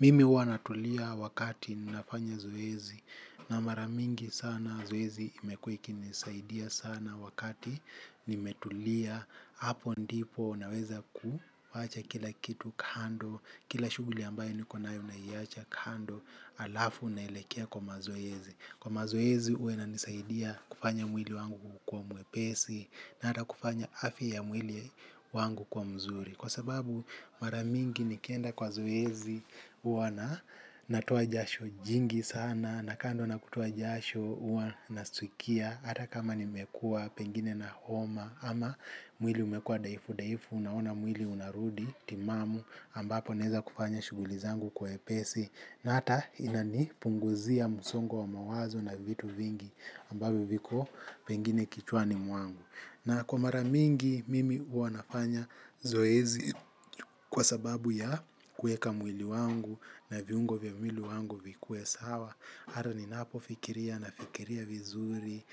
Mimi huwana tulia wakati ninafanya zoezi na maramingi sana zoezi imekuwa iki nisaidia sana wakati nimetulia hapo ndipo naweza kuacha kila kitu kando kila shughuli ambayo nikonayo naiacha kando alafu naelekea kwa mazoezi. Kwa mazoezi huwa inanisaidia kufanya mwili wangu kukuwa mwepesi na ata kufanya afya ya mwili wangu kwa mzuri. Kwa sababu maramingi nikienda kwa zoezi uwa na natoa jasho jingi sana na kando na kutoa jasho huwa na stukia. Hata kama nimekuwa pengine na homa ama mwili umekuwa daifu daifu unaona mwili unarudi timamu ambapo naeza kufanya shughulizangu kwa wepesi. Na hata inani punguzia msongo wa mawazo na vitu vingi ambapo viko pengine kichwani mwangu. Na kwa maramingi, mimi huwanafanya zoezi kwa sababu ya kueka mwili wangu na viungo vya mwili wangu vikuwe sawa. Hata ni napo fikiria na fikiria vizuri.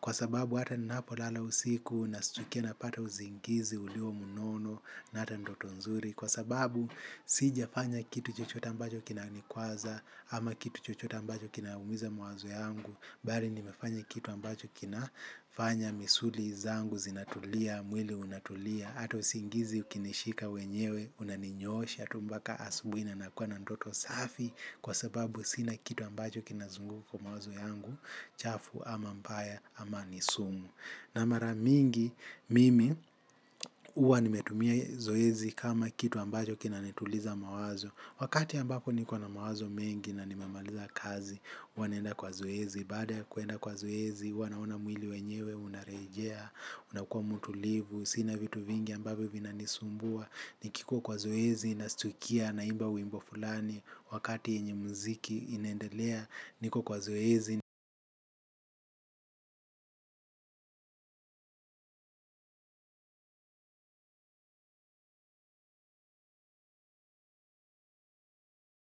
Kwa sababu hata ni napo lala usiku na stukia napata uzingizi ulio mnono na hata ndoto nzuri. Kwa sababu, sija fanya kitu chochote ambacho kina nikwaza ama kitu chochote ambacho kina umiza mawazo yangu. Bali nimefanya kitu ambacho kinafanya misuli zangu, zinatulia, mwili unatulia, ata usingizi ukinishika wenyewe, unaninyoosha, tu mpaka asubui na nakuwa na ndoto safi kwa sababu sina kitu ambacho kina zunguka kwa mawazo yangu, chafu ama mbaya ama nisumu. Na maramingi mimi huwa nimetumia zoezi kama kitu ambacho kina nituliza mawazo. Wakati ambapo nikona mawazo mengi na nimemaliza kazi, huwa naenda kwa zoezi. Baada kuenda kwa zoezi, huwa naona mwili wenyewe, unarejea, unakuwa mtulivu. Sina vitu vingi ambavyo vina nisumbua, nikikuwa kwa zoezi nastukia, naimba wimbo fulani. Wakati yenye muziki inendelea, niko kwa zoezi,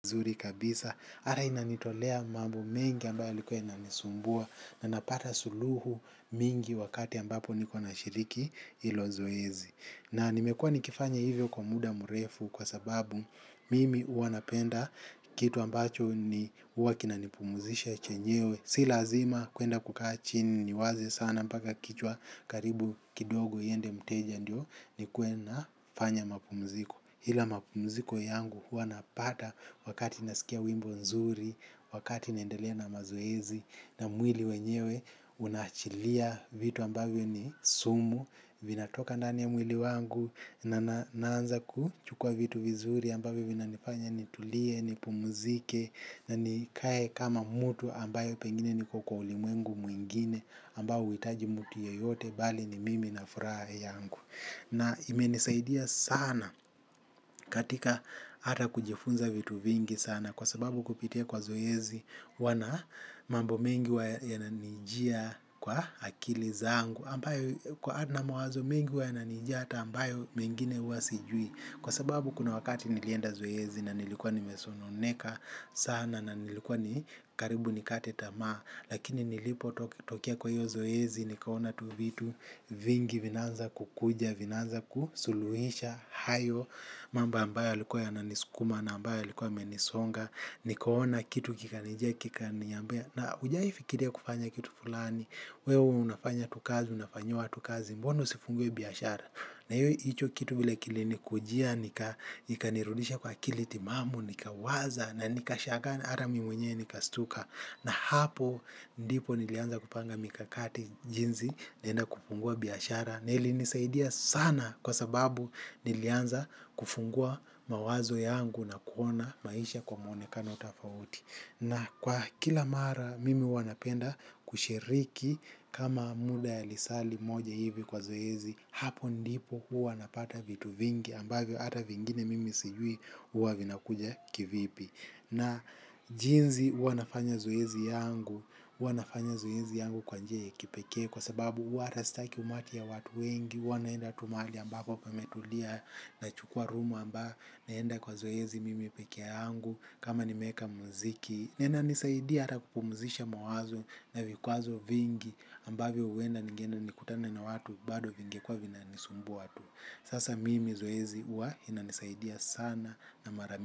nizuri kabisa. Ata inanitolea mambo mengi ambayo yalikuwa inanisumbua na napata suluhu mingi wakati ambapo nikona shiriki hilo zoezi. Na nimekuwa nikifanya hivyo kwa muda murefu kwa sababu mimi huwa napenda kitu ambacho ni huwakinanipumuzisha chenyewe. Si lazima kuenda kukachini niwaze sana mpaka kichwa karibu kidogo iende mteja ndio ni kuwe na fanya mapumuziko. Ila mapumziko yangu huwa napata wakati naskia wimbo nzuri, wakati naendelea na mazoezi, na mwili wenyewe unaachilia vitu ambavyo ni sumu, vina toka nani ya mwili wangu, naanza kuchukua vitu vizuri ambavyo vina nifanya nitulie, nipumzike, na nikae kama mutu ambayo pengine niko kwa ulimwengu mwingine, ambao huitaji mutu yeyote bali ni mimi na furaha yangu. Na imenisaidia sana katika ata kujifunza vitu vingi sana kwa sababu kupitia kwa zoezi huwana mambo mengi huwa yananijia kwa akili zangu ambayo kwa na mwazo mengi huwa yananijaa hata ambayo mengine huwasijui kwa sababu kuna wakati nilienda zoezi na nilikuwa nimesononeka sana na nilikuwa ni karibu nikate tamaa lakini nilipo tokea kwa hiyo zoezi nikaona tu vitu vingi vinaanza kukuja vinaanza kusuluhisha, hayo, mambo ambayo yalikuwa yananiskuma, ambayo yalikuwa yamenisonga, nikaona kitu kika nijia kikaniambia. Na ujawahi fikiria kufanya kitu fulani, wewe unafanya tu kazi, unafanyia watukazi, mbona usifungue biashara. Na hiyo hicho kitu vile kilini kujia, nika ikanirudisha kwa akili timamu, nika waza, na nikashagaa ata mimi mwenyewe nikastuka. Na hapo, ndipo nilianza kupanga mikakati jinzi, naenda kufungua biashara. Na ili nisaidia sana kwa sababu nilianza kufungua mawazo yangu na kuona maisha kwa mwonekano tofauti. Na kwa kila mara mimi huwanapenda kushiriki kama muda ya lisaa li moja hivi kwa zoezi, hapo ndipo huwa napata vitu vingi ambavyo ata vingine mimi sijui huwa vinakuja kivipi. Na jinzi huwa nafanya zoezi yangu uwa nafanya zoezi yangu kwa njia ya kipekee kwa sababu huwa hata staki umati ya watu wengi huwa naenda tu mahali ambako pametulia na chukua room amba naenda kwa zoezi mimi pekee yangu kama nimeeka muziki na ina nisaidia ata kupumzisha mawazo na vikwazo vingi ambavyo uenda ninge enda nikutane na watu bado vingekuwa vina nisumbua tu sasa mimi zoezi uwa ina nisaidia sana na mara.